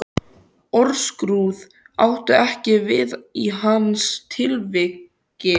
Orðskrúð átti ekki við í hans tilviki.